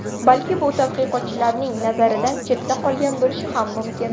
Balki bu tadqiqotchilarning nazaridan chetda qolgan bo‘lishi ham mumkin.